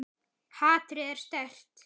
Hatrið er sterkt.